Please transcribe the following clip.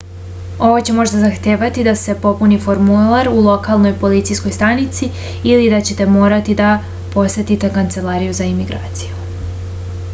ovo će možda zahtevati da se popuni formular u lokalnoj policijskoj stanici ili da ćete morati da posetite kancelariju za imigraciju